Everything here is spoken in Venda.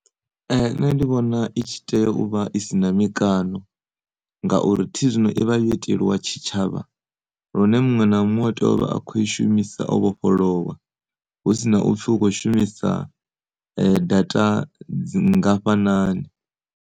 Nṋe ndi vhona itshi tea uvha isina mikano nga uri thi zwino ivha yo itelwa tshitshavha lune muṅwe na muṅwe a tea uvha a kho i shumisa o vhofholowa husina upfi ukho shumisa data dzi ngafhanani.